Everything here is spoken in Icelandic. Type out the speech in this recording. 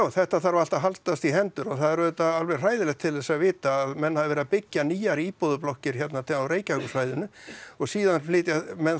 þetta þarf allt að haldast í hendur og það er auðvitað alveg hræðilegt til þess að vita að menn hafi verið að byggja nýjar íbúðarblokkir hérna á Reykjavíkursvæðinu og síðan flytja menn